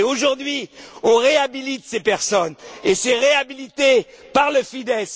Et aujourd'hui, on réhabilite ces personnes et c'est avalisé par le Fidesz.